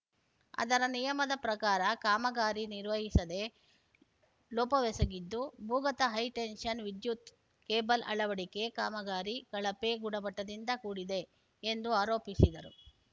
ಆದರೆ ನಿಯಮದ ಪ್ರಕಾರ ಕಾಮಗಾರಿ ನಿರ್ವಹಿಸದೆ ಲೋಪವೆಸಗಿದ್ದು ಭೂಗತ ಹೈಟೆನ್ಷನ್‌ ವಿದ್ಯುತ್‌ ಕೇಬಲ್‌ ಅಳವಡಿಕೆ ಕಾಮಗಾರಿ ಕಳಪೆ ಗುಣಮಟ್ಟದಿಂದ ಕೂಡಿದೆ ಎಂದು ಆರೋಪಿಸಿದರು